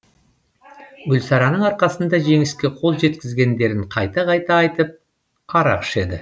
гүлсарының арқасында жеңіске қол жеткізгендерін қайта қайта айтып арақ ішеді